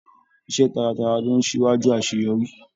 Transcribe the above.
Iṣẹ taratara lo n síwájú àṣeyọrí.